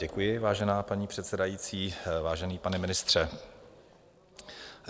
Děkuji, vážená paní předsedající, vážený pane ministře.